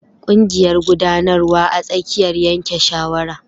Ƙungiƴar guɗanarwa a tsakiyar yanke shawara.